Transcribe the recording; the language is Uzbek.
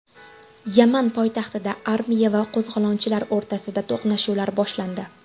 Yaman poytaxtida armiya va qo‘zg‘olonchilar o‘rtasida to‘qnashuvlar boshlandi.